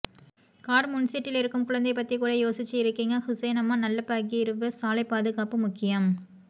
car முன்சீட்டுல் இருக்கும் குழந்தை பத்தி கூட யோசிச்சு இருக்கிங்க ஹுசைனம்மா நல்ல பகிர்வு சாலை பாதுகாப்பு முக்கியம்